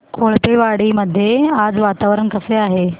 कोळपेवाडी मध्ये आज वातावरण कसे आहे